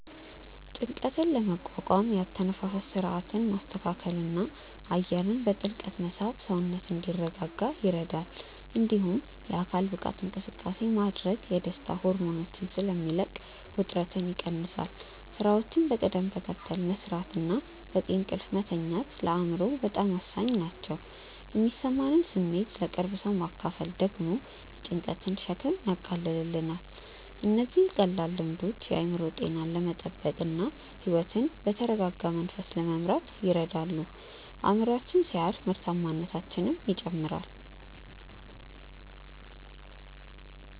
ጭንቀትን ለመቋቋም የአተነፋፈስ ሥርዓትን ማስተካከልና አየርን በጥልቀት መሳብ ሰውነት እንዲረጋጋ ይረዳል። እንዲሁም የአካል ብቃት እንቅስቃሴ ማድረግ የደስታ ሆርሞኖችን ስለሚለቅ ውጥረትን ይቀንሳል። ሥራዎችን በቅደም ተከተል መሥራትና በቂ እንቅልፍ መተኛት ለአእምሮ ሰላም ወሳኝ ናቸው። የሚሰማንን ስሜት ለቅርብ ሰው ማካፈል ደግሞ የጭንቀትን ሸክም ያቃልላል። እነዚህ ቀላል ልምዶች የአእምሮ ጤናን ለመጠበቅና ሕይወትን በተረጋጋ መንፈስ ለመምራት ይረዳሉ። አእምሮአችን ሲያርፍ ምርታማነታችንም ይጨምራል።